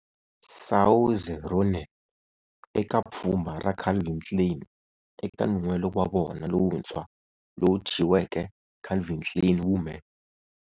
Saoirse Ronan eka pfhumba ra Calvin Klein eka nun'hwelo wa vona lowuntshwa lowu thyiweke"Calvin Klein Women".